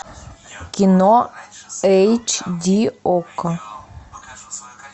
кино эйч ди окко